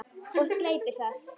Og gleypir það.